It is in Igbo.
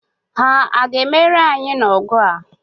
Ha a ga-emeri anyị n'ọgụ a?